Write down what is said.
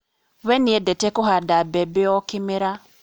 We nĩendete kũhanda mbembe o kĩmera